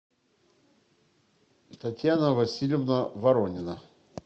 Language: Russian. татьяна васильевна воронина